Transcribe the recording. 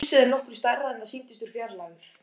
Húsið er nokkru stærra en það sýndist úr fjarlægð.